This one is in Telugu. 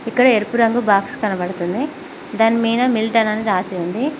ఇక్కడ ఎరుపు రంగు బాక్స్ కనబడుతుంది దానిమీద మిల్టన్ అని రాసి ఉంది.